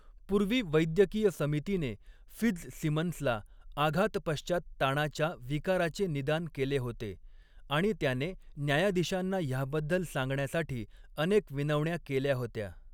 पूर्वी वैद्यकीय समितीने फित्झसिमन्सला आघातपश्चात ताणाच्या विकाराचे निदान केले होते आणि त्याने न्यायाधीशांना ह्याबद्दल सांगण्यासाठी अनेक विनवण्या केल्या होत्या.